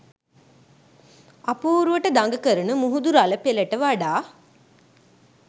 අපූරුවට දඟ කරන මුහුදු රළ පෙළට වඩා